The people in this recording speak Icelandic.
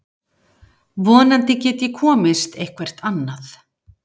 Vonandi get ég komist eitthvert annað.